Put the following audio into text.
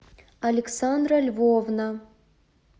александра львовна